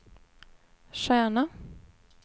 stjärna